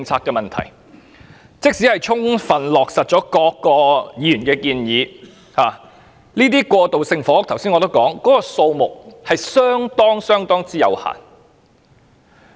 我剛才已指出，即使全盤落實議員的建議，過渡性房屋的單位數目亦相當有限。